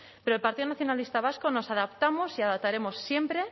pero en el partido nacionalista vasco nos adaptamos y adaptaremos siempre